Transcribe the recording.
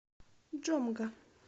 джомга